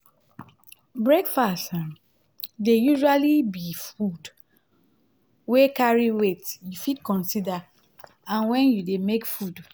breakfast um dey usually be food wey no carry weight you fit consider am when you dey make food